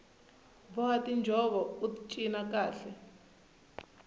boha tinjhovo ut cina kahle